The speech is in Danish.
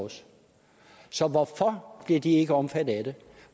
så hvorfor bliver de ikke omfattet af det